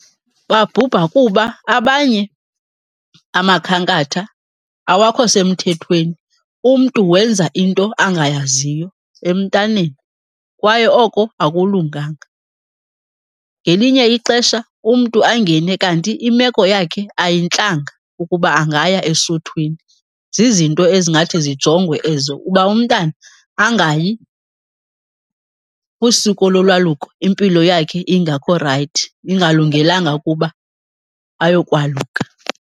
Babhubha kuba abanye amakhankatha awakho semthethweni, umntu wenza into angayaziyo emntaneni, kwaye oko akulunganga. Ngelinye ixesha umntu angene kanti imeko yakhe ayintlanga ukuba angaya esuthwini. Zizinto ezingathi zijongwe ezo uba umntana angayi kwisiko lolwaluko impilo yakhe ingakho rayithi, ingalungelanga ukuba ayokwaluka.